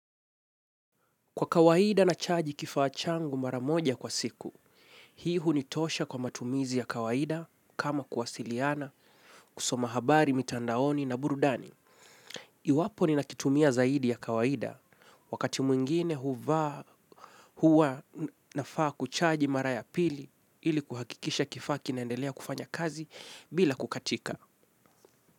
Kwa kawaida nachaji kifaa changu maramoja kwa siku, hii hunitosha kwa matumizi ya kawaida kama kuwasiliana kusoma habari mitandaoni na burudani. Iwapo ninakitumia zaidi ya kawaida wakati mwingine huvaa huwa nafaa kuchaji mara ya pili ili kuhakikisha kifaa kinendelea kufanya kazi bila kukatika.